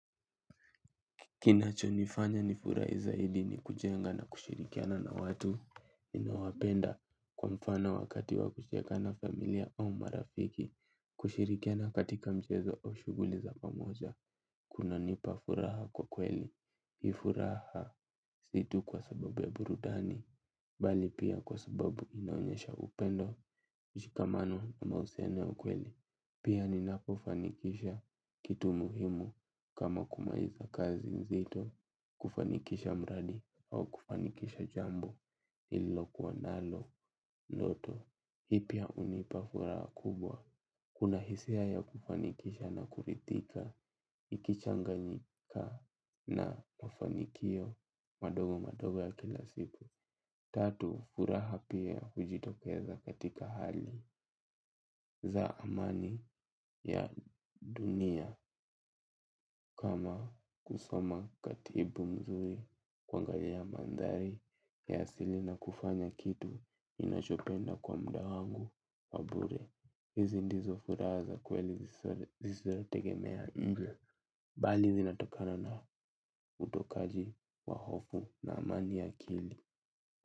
Kinachonifanya nifurai zaidi ni kujenga na kushirikiana na watu ninawapenda kwa mfano wakati wa kucheka na familia au marafiki. Kushirikiana katika mchezo au shuguli za pamoja. Kunanipa furaha kwa kweli. Ii furaha si tu kwa sababu ya burudani. Bali pia kwa sababu inaonyesha upendo ushikamano na mausiano ya ukweli. Pia ninapofanikisha kitu muhimu kama kumaliza kazi nzito. Kufanikisha mradi au kufanikisha jambo nililokuwa nalo, loto, hii pia unipa furaha kubwa. Kuna hisia ya kufanikisha na kuridhika, ikichanganyika na mafanikio madogo madogo ya kila siku. Tatu, furaha pia hujitokeza katika hali za amani ya dunia kama kusoma katibu mzuri kuangalia mandhari ya asili na kufanya kitu ninachopenda kwa muda wangu wa bure. Hizi ndizo furaha za kweli zisizo tegemea muda. Bali zinatokana na utokaji wa hofu na amani ya akili.